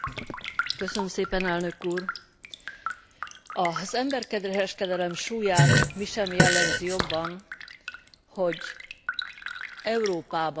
Az emberkereskedelem súlyát mi sem jellemzi jobban, mint hogy Európában is több százezren esnek évente áldozatul.